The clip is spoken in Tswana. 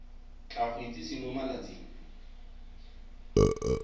tla go itsise mo malatsing